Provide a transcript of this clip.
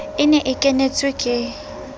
e ne e kenetswe ke